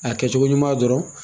A kɛcogo ɲuman dɔrɔn.